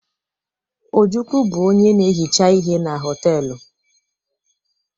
Ojukwu bụrụ onye na-ehicha ihe na họtelụ.